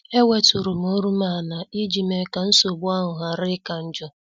E weturum olum ala iji mee ka nsogbu ahụ ghara ika njọ.